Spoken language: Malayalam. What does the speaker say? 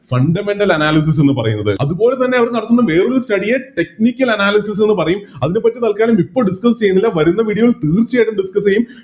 Fundamental analysis എന്ന് പറയുന്നത് അതുപോലെ തന്നെ അവര് നടത്തുന്ന വേറൊരു Study യെ Technical analysis എന്ന് പറയും അതിനെപറ്റി തൽക്കാലം ഇപ്പോൾ Discuss ചെയ്യുന്നില്ല വരുന്ന Video ൽ തീർച്ചയായിട്ടും Discuss ചെയ്യും